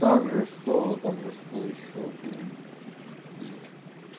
также что также что ещё блин есть